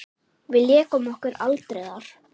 Við lékum okkur aldrei þar.